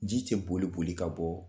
Ji cɛ boli boli ka bɔ